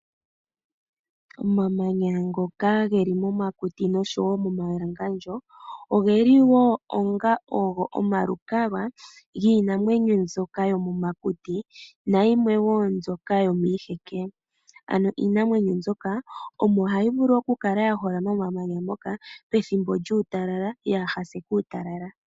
Omamanya ngoka geli momakuti noshowo momawalangandjo ogeli wo onga oho omalukalwa giinamwenyo ndyoka yomomakuti nayimwe wo ndyoka yomiiheke. Iinamwenyo ndyoka ohayi vulu oku kala yaholama momamanya moka pethimbo lyuutalala yaahase uutalala.